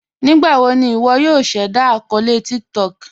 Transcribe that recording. Nígbàwò ní ìwọ̀ yòò ṣẹ̀dá akọọlẹ̀ TikTok?